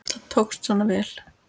Það tókst svona vel.